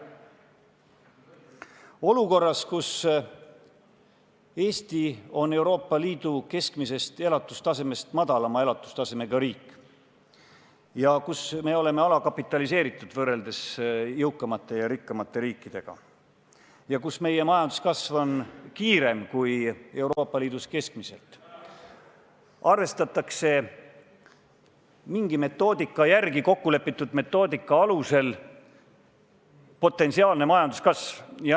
Olukorras, kus Eesti on Euroopa Liidu keskmisest elatustasemest madalama elatustasemega riik ja kus me oleme alakapitaliseeritud võrreldes jõukamate ja rikkamate riikidega ja kus meie majanduskasv on kiirem kui Euroopa Liidus keskmiselt, arvestatakse mingi metoodika järgi, kokkulepitud metoodika alusel potentsiaalne majanduskasv.